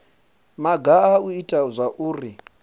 maga a u ita zwauri